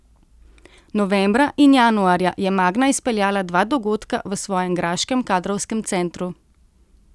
Novembra in januarja je Magna izpeljala dva dogodka v svojem graškem kadrovskem centru.